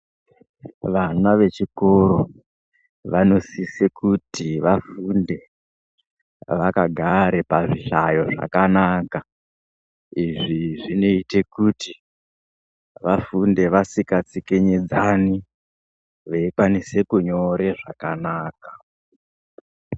Vana vechikoro vanosise kuti vafunde vakagare pazvihlayo zvakanaka. Izvi zvinoite kuti vafunde vasikatsikinyidzani, veikwanise kunyore zvakanaka.